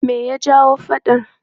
Me ya jawo faɗan?